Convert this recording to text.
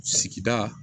Sigida